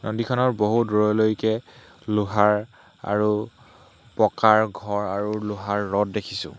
নদীখনৰ বহু দূৰলৈকে লোহাৰ আৰু পকাৰ ঘৰ আৰু লোহাৰ ৰদ দেখিছোঁ।